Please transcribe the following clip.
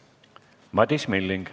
Madis Milling.